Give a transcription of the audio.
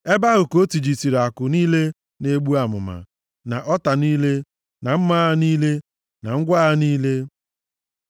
Ebe ahụ ka o tijisịrị àkụ niile na-egbu amụma, na ọta niile, na mma agha niile, na ngwa agha niile. Sela